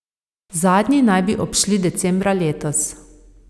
Zadnji naj bi odšli decembra letos.